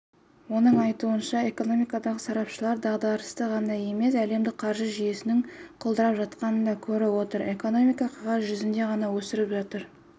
оның айтуынша экономикадағы сарапшылар дағдарысты ғана емес әлемдік қаржы жүйесінің құлдырап жатқанын да көріп отыр экономика қағаз жүзінде ғана өсіп жатыр